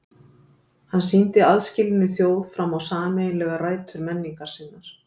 Hann sýndi aðskilinni þjóð fram á sameiginlegar rætur menningar sinnar.